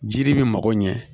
Jiri bɛ mago ɲɛ